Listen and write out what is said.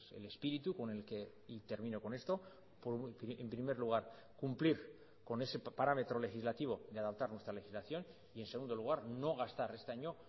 el espíritu con el que y termino con esto en primer lugar cumplir con ese parámetro legislativo de adaptar nuestra legislación y en segundo lugar no gastar este año